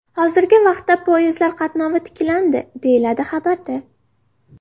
Hozirgi vaqtda poyezdlar qatnovi tiklandi”, deyiladi xabarda.